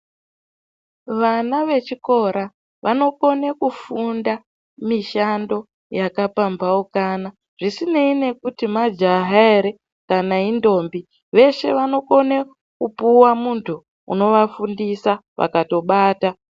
Vana vechikora vanakone kufunda mishando yakapambaukana. Zvisineyi nekuti kuti majaha here kana indombi, veshe vanokone kupuwa muntu unovafundisa vakatobata.